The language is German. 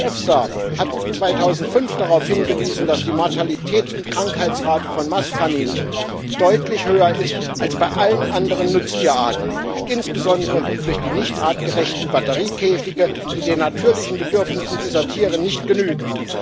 Die EFSA hat 2005 darauf hingewiesen, dass die Mortalität und Krankheitsrate von Mastkaninchen deutlich höher ist als bei allen anderen Nutztierarten insbesondere durch die nicht artgerechten Batteriekäfige, die den natürlichen Bedürfnissen dieser Tiere nicht genügen.